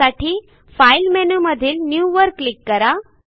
त्यासाठी फाईल मेनूमधील न्यू वर क्लिक करा